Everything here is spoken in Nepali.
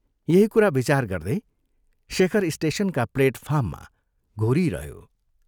यही कुरा विचार गर्दै शेखर स्टेशनका प्लेटफार्ममा घोरिइरह्यो।